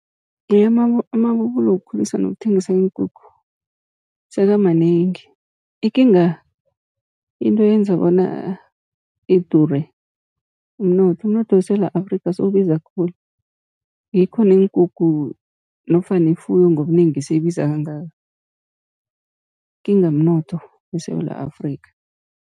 Nje amabubulo wokukhulisa nokuthengisa iinkukhu sekamanengi, ikinga into eyenza bona idure mnotho. Umnotho weSewula Afrika, sewubiza khulu ngikho neenkukhu nofana ifuyo ngobunengi seyibiza kangaka, ikinga mnotho weSewula Afrika.